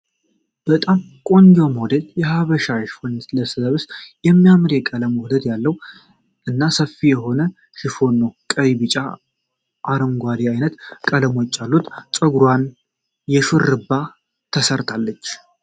በጣም ቆንጆ ሞዴል የሃበሻ ሽፎን ስትለብስ የሚያምር የቀለም ውህደት ያለው እና ሰፊ የሆነ ሽፎን ነው ። ቀይ ቢጫ አረንጓዴ አይነት ቀለሞች አሉት ። ፀጉርዋንም የ ሹርባ ተሰርታለች።